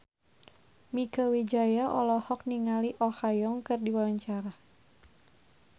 Mieke Wijaya olohok ningali Oh Ha Young keur diwawancara